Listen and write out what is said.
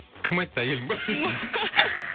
кім айтты әйелің ба